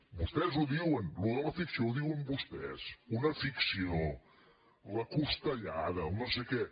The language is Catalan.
vostès ho diuen això de la ficció ho diuen vostès una ficció la costellada el noséquè